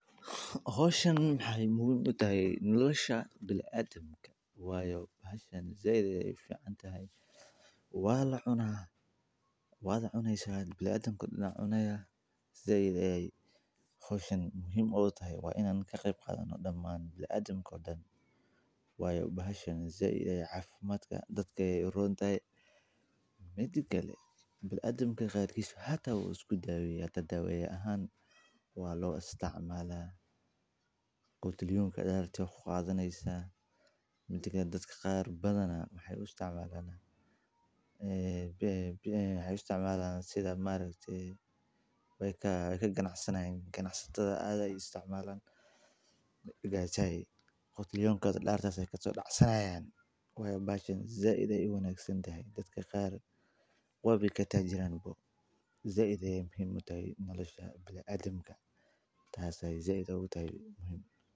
Howshan waxee muhiim utahay nolosha bila adan wayo hoshan said ayey uficantahay waa lacuna waad cuneysa bilaadankana wu cuneya said ayey hoshan muhiim u tahay in an ka qeb qadhano daman bila adanka oo dan wayo bahashan said cafimaadka dadka ayey urontahay, mida kale bila adanka qarkis hata wu isku daweya ahan waa lo isticmala oo aya ku qadhaneysa dadka qar badana waxee u isticmalan sitha badana ee ma aragte we ka ganacsanayin ganacsataada aad ayey u isticmalan qotliyonkodha dararta ayey kaso dacsanayan weyna bahashan said ayey u wanagsantahay waba katajiranba said ayey muhiim u tahay nolosha bilaadanka tas ayey muhiim u tahay.